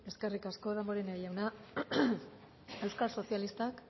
eskerrik asko damborenea jauna euskal sozialistak